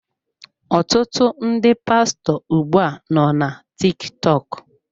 Ọtụtụ ndị pastọ ugbu a nọ na TikTok.